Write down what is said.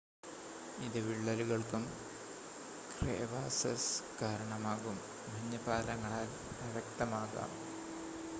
ഇത് വിള്ളലുകൾക്കും ക്രേവാസസ് കാരണമാകും മഞ്ഞ് പാലങ്ങളാൽ അവ്യക്തമാകാം